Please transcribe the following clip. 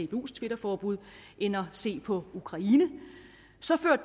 dbus twitterforbud end at se på ukraine